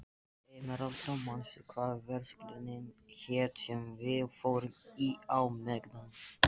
Emeralda, manstu hvað verslunin hét sem við fórum í á miðvikudaginn?